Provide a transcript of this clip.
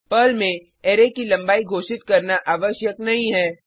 Perl में array की लंबाई घोषित करना आवश्यक नहीं है